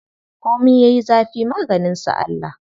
Komi yayi zafi maganin sa Allah.